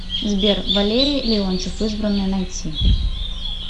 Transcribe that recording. сбер валерий леонтьев избранные найти